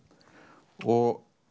og